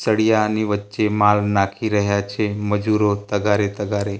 સળિયાની વચ્ચે માલ નાંખી રહ્યા છે મજુરો તગારે તગારે.